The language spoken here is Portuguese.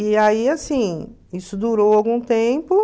E aí, assim, isso durou algum tempo.